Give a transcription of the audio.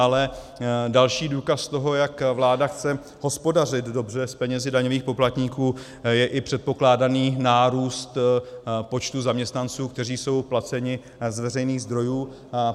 Ale další důkaz toho, jak vláda chce hospodařit dobře s penězi daňových poplatníků, je i předpokládaný nárůst počtu zaměstnanců, kteří jsou placeni z veřejných zdrojů.